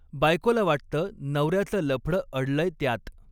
बायकोला वाटतं, नवऱ्याचं लफडं अडलंय त्यात